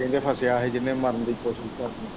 ਕਹਿੰਦੇ ਫਸਿਆ ਹੀ ਜਿਹਨੇ ਮਰਨ ਦੀ ਕੌਸ਼ਿਸ਼ ਕਰਨੀ